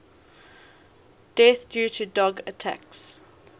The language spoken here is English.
deaths due to dog attacks